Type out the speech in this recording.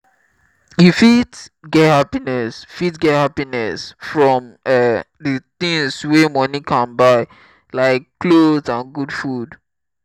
you fit get happiness fit get happiness from um di things wey money can buy like nice clothes and good food.